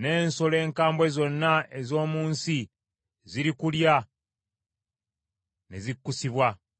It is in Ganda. n’ensolo enkambwe zonna ez’omu nsi zirikulya ne zikkusibwa.